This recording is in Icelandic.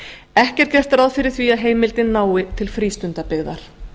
ekki er gert ráð fyrir að heimildin nái til frístundabyggðar